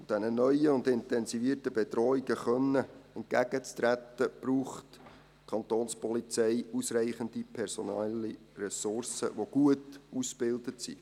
Um diesen neuen und intensivierten Bedrohungen entgegentreten zu können, braucht die Kantonspolizei ausreichende personelle Ressourcen, die gut ausgebildet sind.